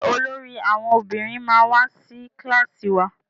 Njé olórí àwọn ọmọbìnrin ma wá sí kilasi wá?